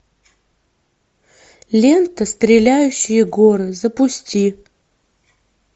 лента стреляющие горы запусти